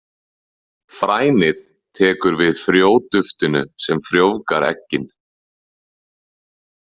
Frænið tekur við frjóduftinu sem frjóvgar eggin.